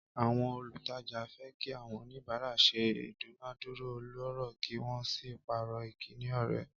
Àwọn olùtajà fẹ́ kí àwọn oníbàárà ṣe ìdúnàádúrà ọlọ́rọ̀ kí wọ́n sì pààrọ̀ ìkíni ọ̀rẹ́.